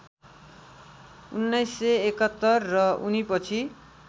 १९७१ र उनीपछि